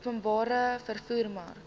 openbare vervoer mark